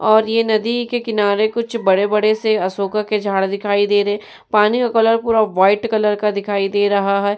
और ये नदी के किनारे कुछ बड़े-बड़े से अशोका के झाड दिखाई दे रहे। पानी का कलर पूरा वाइट कलर का दिखाई दे रहा है।